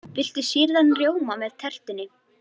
Viltu sýrðan rjóma með tertunni?